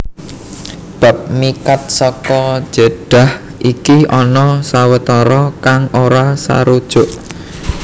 Bab miqat saka Jeddah iki ana sawetara kang ora sarujuk